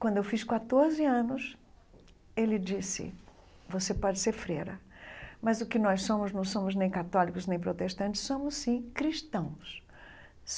Quando eu fiz quatroze anos, ele disse, você pode ser freira, mas o que nós somos, não somos nem católicos, nem protestantes, somos sim cristãos.